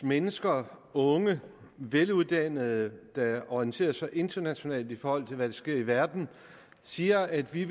mennesker unge veluddannede der orienterer sig internationalt i forhold til hvad der sker i verden siger at de